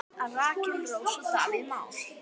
Rakel Rós og Davíð Már.